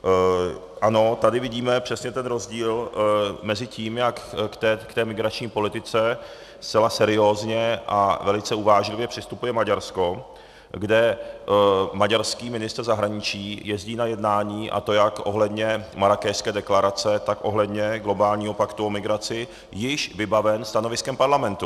Ano, tady vidíme přesně ten rozdíl mezi tím, jak k té migrační politice zcela seriózně a velice uvážlivě přistupuje Maďarsko, kde maďarský ministr zahraničí jezdí na jednání, a to jak ohledně Marrákešské deklarace, tak ohledně globálního paktu o migraci již vybaven stanoviskem parlamentu.